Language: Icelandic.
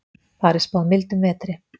Þar er spáð mildum vetri.